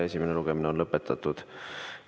Esimene lugemine on lõpetatud.